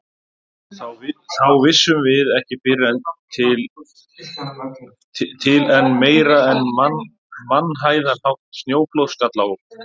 Þá vissum við ekki fyrr til en meira en mannhæðarhátt snjóflóð skall á okkur.